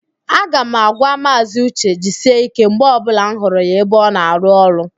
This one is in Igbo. A ga m agwa Maazị ụche, "jisie ike" mgbe ọbụla m hụrụ ya ebe ọ na-arụ ọrụ